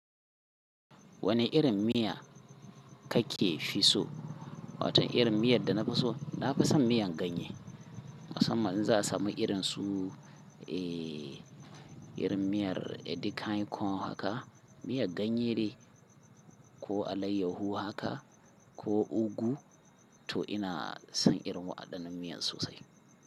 Wane irin miya ka/ke fi so? Watan irin miyar da na fi so, na fi son miyan ganye. Musamman in za a samu irin su eh, irin miyar edikaikong haka, miyar ganye dai ko alayyahu haka ko ogu to ina son irin waɗannan miyan sosai.